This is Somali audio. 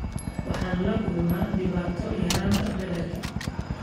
Waxaan la kulmaa dhibaato yaraanta badarka.